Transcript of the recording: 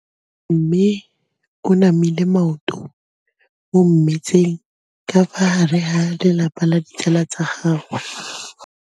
Mme o namile maoto mo mmetseng ka fa gare ga lelapa le ditsala tsa gagwe.